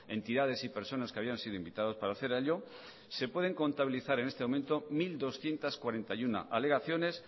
entidades y personas que habían sido invitados para ello se pueden contabilizar en este momento mil doscientos cuarenta y uno alegaciones